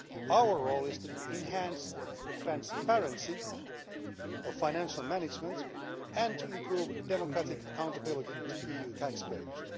Our role is to enhance the transparency of financial management and improve democratic accountability to EU taxpayers.